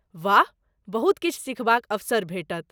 वाह! बहुत किछु सिखबाक अवसर भेटत।